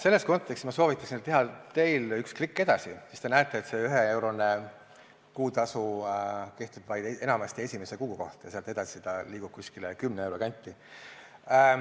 Selles kontekstis ma soovitan teha teil üks klikk edasi, siis te näete, et see üheeurone kuutasu kehtib enamasti vaid esimese kuu kohta ja sealt edasi see liigub kümne euro kanti.